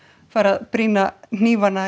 fari að brýna hnífana